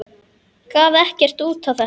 Gaf ekkert út á þetta.